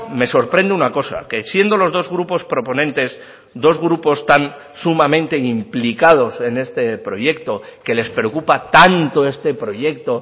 me sorprende una cosa que siendo los dos grupos proponentes dos grupos tan sumamente implicados en este proyecto que les preocupa tanto este proyecto